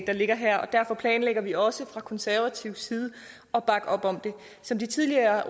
der ligger her og derfor planlægger vi også fra konservativ side at bakke op om det som de tidligere